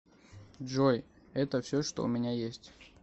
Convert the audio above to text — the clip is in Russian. джой это все что у меня есть